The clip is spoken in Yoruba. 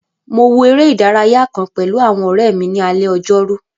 Mo wo eré ìdárayá kàn pẹ̀lú àwọn ọ̀rẹ́ mi ní alé ojórú